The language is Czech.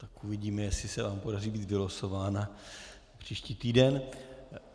Tak uvidíme, jestli se vám podaří být vylosována příští týden.